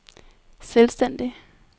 selvstændig